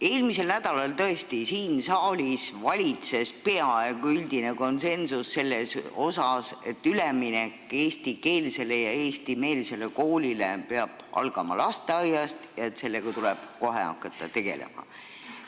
Eelmisel nädalal valitses siin saalis tõesti peaaegu üldine konsensus selles, et üleminek eestikeelsele ja eestimeelsele koolile peab algama lasteaiast ja et sellega tuleb kohe tegelema hakata.